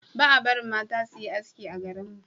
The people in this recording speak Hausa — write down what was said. ba a barin mata su yi haski a garin mu